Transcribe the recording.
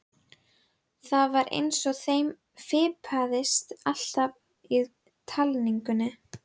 Það var eins og þeim fipaðist alltaf í talningunni.